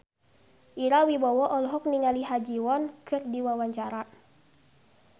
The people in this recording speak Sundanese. Ira Wibowo olohok ningali Ha Ji Won keur diwawancara